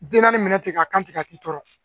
Den naani minɛ ten ka kan tɛ ka k'i tɔɔrɔ